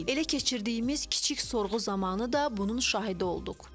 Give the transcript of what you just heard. Elə keçirdiyimiz kiçik sorğu zamanı da bunun şahidi olduq.